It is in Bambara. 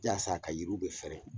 Yasa a ka yiriw bɛ fɛrɛɛ.